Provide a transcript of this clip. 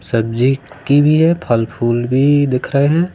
सब्जी की भी है फल फूल भी दिख रहे हैं।